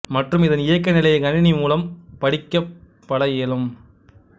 மற்றும் இதன் இயக்க நிலையை கணினி மூலம் படிக்கப்பட இயலும்